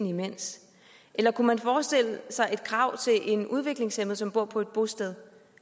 imens eller kunne man forestille sig et krav til en udviklingshæmmet som bor på et bosted